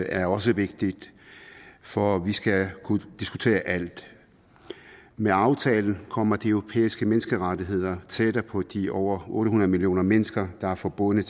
er også vigtigt for vi skal kunne diskutere alt med aftalen kommer de europæiske menneskerettigheder tættere på de over otte hundrede millioner mennesker der er forbundet